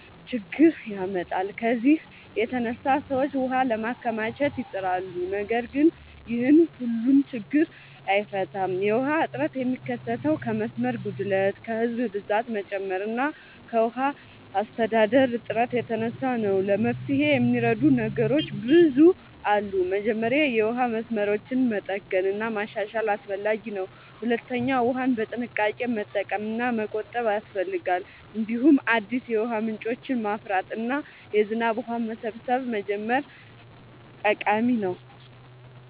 ችግኝ ያመጣል። ከዚህ የተነሳ ሰዎች ውሃ ለማከማቸት ይጥራሉ፣ ነገር ግን ይህም ሁሉን ችግኝ አይፈታም። የውሃ እጥረት የሚከሰተው ከመስመር ጉድለት፣ ከህዝብ ብዛት መጨመር እና ከውሃ አስተዳደር እጥረት የተነሳ ነው። ለመፍትሄ የሚረዱ ነገሮች ብዙ አሉ። መጀመሪያ የውሃ መስመሮችን መጠገን እና ማሻሻል አስፈላጊ ነው። ሁለተኛ ውሃን በጥንቃቄ መጠቀም እና መቆጠብ ያስፈልጋል። እንዲሁም አዲስ የውሃ ምንጮችን ማፍራት እና የዝናብ ውሃ መሰብሰብ መጀመር ጠቃሚ ነው።